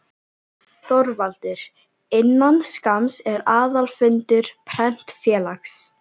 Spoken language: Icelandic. ÞORVALDUR: Innan skamms er aðalfundur Prentfélags